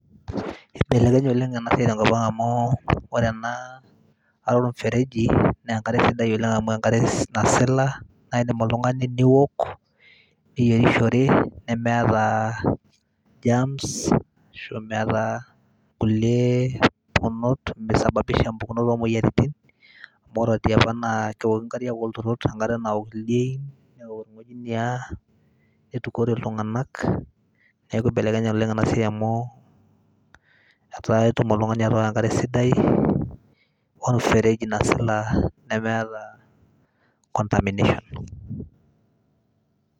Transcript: Ibelekenye oleng' ena siai tenkop ang' amu ore ena are or mfereji naa enkare sidai oleng' amu enkare nasila naake indim oltung'ani niwok, niyerishore, nemeeta germs, ashu aa meeta kulie onot misababisha mpukunot oo moyiaritin amu ore tiapa naa kewoki nkariak oolturot enkare nawok ildiain, newok irng'ojiniak, nitukore iltung'anak. Neeku ibalenkenye oleng' ena siai amu etaa itum oltung'ani atooko enkare sidai or mfereji nasila nemeeta contamination.